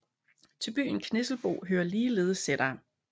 Til byen Knisselbo hører ligeledes sætere